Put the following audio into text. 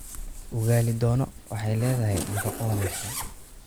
Ugali dono waxay leedahay nafaqo wanaagsan.